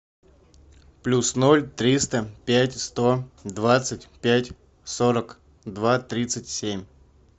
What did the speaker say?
плюс ноль триста пять сто двадцать пять сорок два тридцать семь